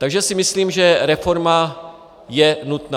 Takže si myslím, že reforma je nutná.